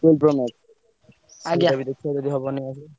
ସେଇଟା ବି ଦେଖେଇବ ଯଦି ହବ ନେଇଆସିଆ।